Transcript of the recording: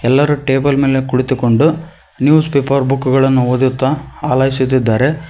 ಎಲ್ಲರೂ ಟೇಬಲ್ ಮೇಲೆ ಕುಳಿತುಕೊಂಡು ನ್ಯೂಸ್ ಪೇಪರ್ ಬುಕ್ ಗಳನ್ನು ಓದುತ್ತಾ ಅಲೈಸುತ್ತಿದ್ದಾರೆ.